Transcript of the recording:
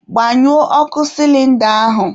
Gbanyụọ ọkụ sịlịnda ahụ